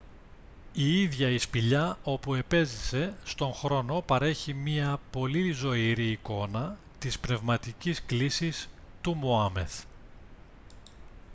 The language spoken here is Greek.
η ίδια η σπηλιά όπου επέζησε στον χρόνο παρέχει μια πολύ ζωηρή εικόνα της πνευματικής κλίσης του μωάμεθ